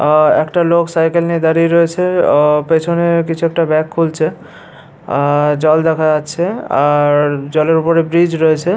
আর একটা লোক সাইকেল নিয়ে দাঁড়িয়ে রয়েছে ও পেছনে কিছু একটা ব্যাগ খুলছে আর জল দেখা যাচ্ছে আর জলের ওপরে ব্রিজ রয়েছে।